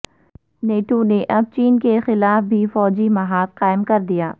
NATO نے اب چین کے خلاف بھی فوجی محاذ قائم کردیا